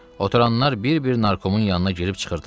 Oturanlar bir-bir narkomun yanına girib çıxırdılar.